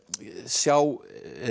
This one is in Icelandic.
sjá